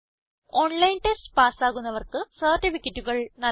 online test pass ആകുന്നവർക്ക് സർട്ടിഫിക്കറ്റുകൾ നല്കുന്നു